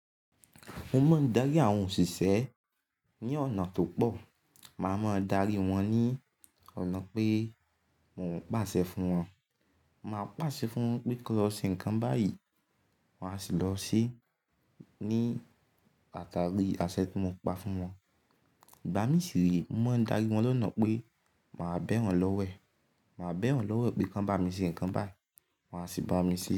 Mo máa ń darí àwọn òṣìṣẹ́ ní ọ̀nà tó pọ̀. Màá máa darí wọn ní ọ̀nà pé mo ń pàṣẹ fún wọn. Màá pàṣẹ fún wọn pé kí wọn lọ ṣe nǹkan báyìí, wọ́n á sì lọ ṣe ní àtàrí àṣẹ tí mo pa fún wọn. Ìgbá mi sì rèé, mo máa ń darí wọn lọ́nà pé màá bẹ̀ wọ́n lọ́wẹ̀. Màá bẹ̀ wọ́n lọ́wẹ̀ pé kan bá mi ṣe nǹkan báyìí, wọ́n á sì bá mi ṣe.